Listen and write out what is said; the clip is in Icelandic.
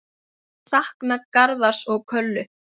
Ég sakna Garðars og Köllu.